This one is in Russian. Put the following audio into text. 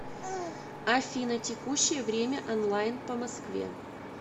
афина текущее время онлайн по москве